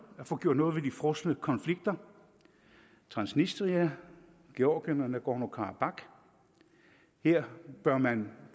at få gjort noget ved de frosne konflikter transnistria georgien og nagorno karabakh her bør man